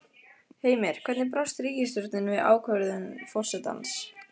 Heimir, hvernig brást ríkisstjórnin við ákvörðun forsetans?